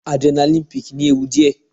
Adrenaline peak ní ewu díẹ̀.